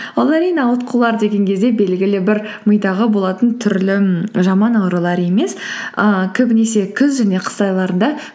ол әрине ауытқулар деген кезде белгілі бір мидағы болатын түрлі м жаман аурулар емес ііі көбінесе күз және қыс айларында